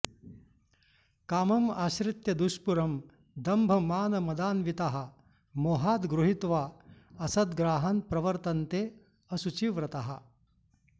कामम् आश्रित्य दुष्पूरं दम्भमानमदान्विताः मोहाद् गृहीत्वा असद्ग्राहान् प्रवर्तन्ते अशुचिव्रताः